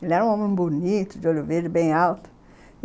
Ele era um homem bonito, de olho verde, bem alto.